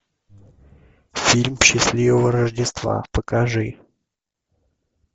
фильм счастливого рождества покажи